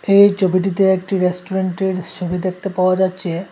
এই চোবিটিতে একটি রেস্টুরেন্টের ছবি দেখতে পাওয়া যাচ্ছে।